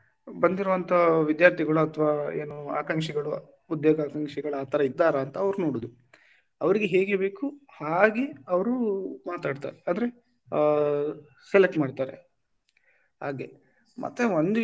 ಬಂದಿರುವಂತ ವಿದ್ಯಾರ್ಥಿಗಳು ಅಥವಾ ಏನು ಆಕಾಂಕ್ಷಿಗಳು ಉದ್ಯೋಗ ಆಕಾಂಕ್ಷಿಗಳು ಆ ತರ ಇದ್ದಾರಾ ಅವರು ನೋಡುದು ಅವ್ರಿಗೆ ಹೇಗೆ ಬೇಕು ಹಾಗೆ ಅವರು ಮಾತಾಡ್ತಾರೆ ಅಂದ್ರೆ ಆ select ಮಾಡ್ತಾರೆ ಹಾಗೆ ಮತ್ತೆ ಒಂದು,